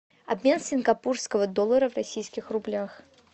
обмен сингапурского доллара в российских рублях